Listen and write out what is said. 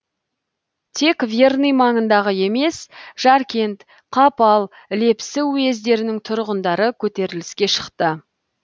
тек верный маңындағы емес жаркент қапал лепсі уездерінің тұрғындары көтеріліске шықты